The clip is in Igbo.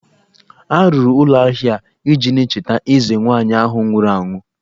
A rụrụ ụlọ ahia ahụ iji na-echeta eze nwaanyị ahụ nwụrụ anwụ